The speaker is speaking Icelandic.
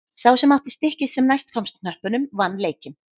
Sá sem átti stikkið sem næst komst hnöppunum vann leikinn.